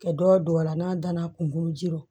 Kɛ dɔw don a la n'a danna kunkolo ji ɔrɔ